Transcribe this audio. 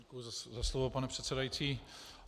Děkuji za slovo, pane předsedající.